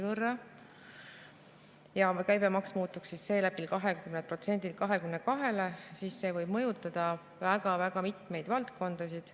Käibemaks seeläbi 20%-lt 22%-le ning see võib mõjutada väga mitmeid valdkondasid.